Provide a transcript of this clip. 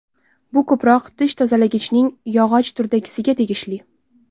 Bu ko‘proq tish tozalagichning yog‘och turdagisiga tegishli.